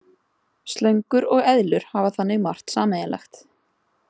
Slöngur og eðlur hafa þannig margt sameiginlegt.